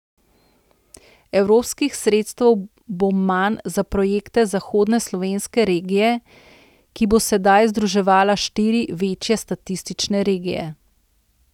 Evropskih sredstev bo manj za projekte zahodne slovenske regije, ki bo sedaj združevala štiri večje statistične regije.